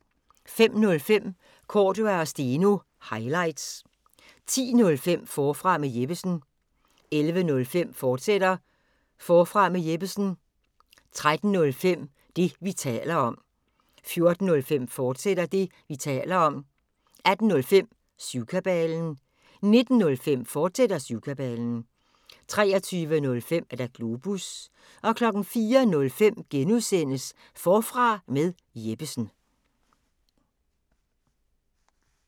05:05: Cordua & Steno – highlights 10:05: Forfra med Jeppesen 11:05: Forfra med Jeppesen, fortsat 13:05: Det, vi taler om 14:05: Det, vi taler om, fortsat 18:05: Syvkabalen 19:05: Syvkabalen, fortsat 23:05: Globus 04:05: Forfra med Jeppesen (G)